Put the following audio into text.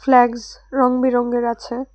Flags রং বেরঙের আছে।